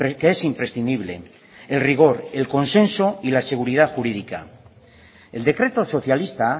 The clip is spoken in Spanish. que es imprescindible el rigor el consenso y la seguridad jurídica el decreto socialista